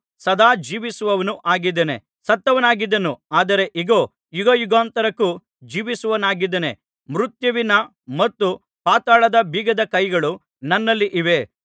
ಸದಾ ಜೀವಿಸುವವನೂ ಆಗಿದ್ದೇನೆ ಸತ್ತವನಾಗಿದ್ದೆನು ಆದರೆ ಇಗೋ ಯುಗಯುಗಾಂತರಕ್ಕೂ ಜೀವಿಸುವವನಾಗಿದ್ದೇನೆ ಮೃತ್ಯುವಿನ ಮತ್ತು ಪಾತಾಳದ ಬೀಗದ ಕೈಗಳು ನನ್ನಲ್ಲಿ ಇವೆ